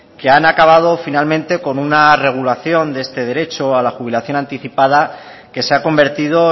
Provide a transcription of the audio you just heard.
que han acabado finalmente como una regulación de este derecho a la jubilación anticipada que se ha convertido